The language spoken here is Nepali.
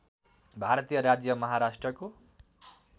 भारतीय राज्य महाराष्ट्रको